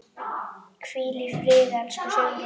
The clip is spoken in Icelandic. Hvíl í friði, elsku Sigrún.